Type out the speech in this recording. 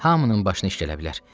Hamının başına iş gələ bilər.